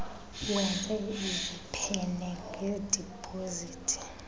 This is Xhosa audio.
wenze iziphene ngedipozithi